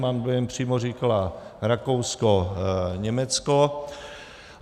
Mám dojem, přímo říkala Rakousko, Německo.